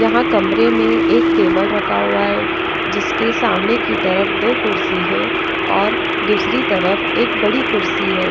यहां कमरे में एक टेबल रखा हुआ है जिसके सामने की तरफ दो कुर्सी हैऔर दूसरी तरफ एक बड़ी कुर्सी है।